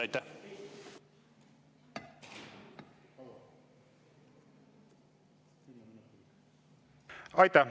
Aitäh!